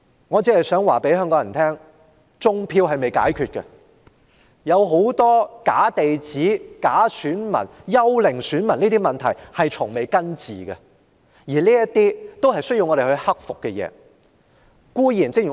我想告訴香港人，種票問題尚未解決，假地址、假選民和幽靈選民等許多問題從未根治，這些都是有待解決的問題。